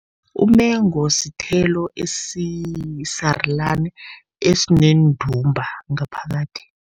Umengu sithelo esisarulani, esineendumba ngaphakathi.